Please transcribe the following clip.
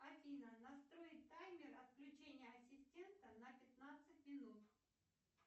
афина настроить таймер отключения ассистента на пятнадцать минут